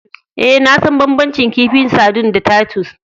Eh, na san banbancin kifin sardine da Titus.